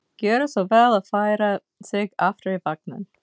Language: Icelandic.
Gjöra svo vel að færa sig aftar í vagninn!